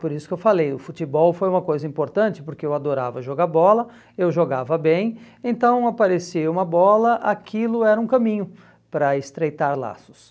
Por isso que eu falei, o futebol foi uma coisa importante, porque eu adorava jogar bola, eu jogava bem, então aparecia uma bola, aquilo era um caminho para estreitar laços.